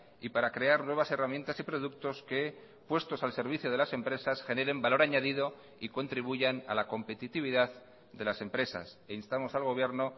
y para crear nuevas herramientas y productos que puestos al servicio de las empresas generen valor añadido y contribuyan a la competitividad de las empresas e instamos al gobierno